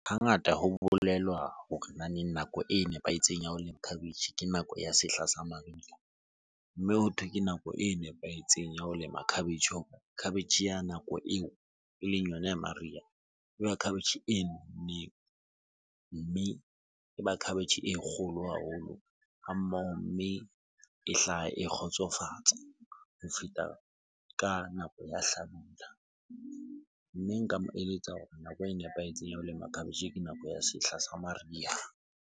Hangata ho bolelwa hore nako e nepahetseng ya ho lema khabetjhe ke nako ya sehla sa mariha. Mme hothwe ke nako e nepahetseng ya ho lema khabetjhe. Khabetjhe ya nako eo eleng yona ya mariha khabetjhe e nonneng. Mme e ba khabetjhe e kgolo haholo ha mmoho, mme e hlaha e kgotsofatsa ho feta ka nako ya hlabula. Mme nka mo eletsa hore nako e nepahetseng ya ho lema cabbage ke nako ya sehla sa mariha.